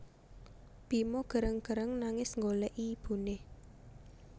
Bima gereng gereng nangis nggolèki ibuné